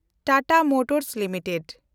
Tata motors limited